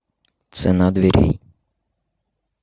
цена дверей